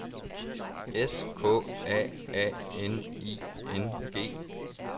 S K A A N I N G